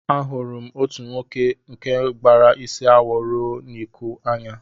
Ahụrụ m otu nwoke nke gbara isi awọ ruo n'iku anya